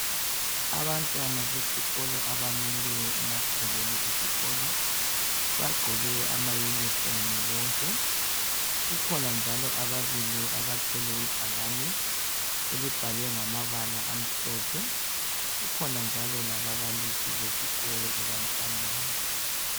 Abantwana besikolo abamileyo emagcekeni esikolo, bagqoke ama yunifomu bonke. Kukhona njalo ababili bathwele ibhakane elibhalwe ngamabala amhlophe. Kukhona njalo lababalisi besikolo ebantwaneni.